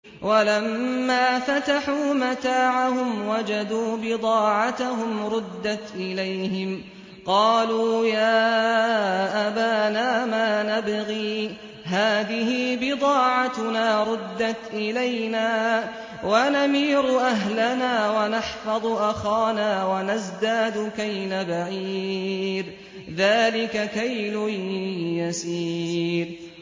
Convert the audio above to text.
وَلَمَّا فَتَحُوا مَتَاعَهُمْ وَجَدُوا بِضَاعَتَهُمْ رُدَّتْ إِلَيْهِمْ ۖ قَالُوا يَا أَبَانَا مَا نَبْغِي ۖ هَٰذِهِ بِضَاعَتُنَا رُدَّتْ إِلَيْنَا ۖ وَنَمِيرُ أَهْلَنَا وَنَحْفَظُ أَخَانَا وَنَزْدَادُ كَيْلَ بَعِيرٍ ۖ ذَٰلِكَ كَيْلٌ يَسِيرٌ